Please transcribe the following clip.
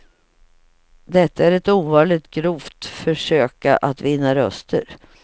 Detta är ett ovanligt grovt försöka att vinna röster.